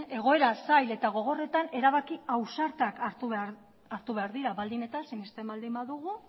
egoera zail eta gogorretan erabaki ausartak hartu behar dira baldin eta sinesten baldin badugu